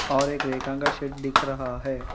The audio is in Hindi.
और एक रेखा का शेड दिख रहा है।